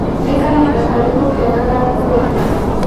Nĩ kahinda karĩkũ kega ga kũgetha.